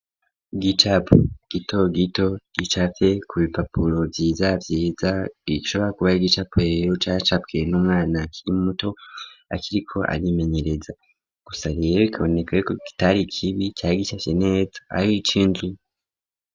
Igicapo gito gito gicafye ku bipapuro vyiza vyiza ishobora kuba yari igicapo rero cacafywe n'umwana akiri muto akiriko arimenyereza gusa rero ikabonekako kitari ikibi cari gicafye neza ari c'inzu.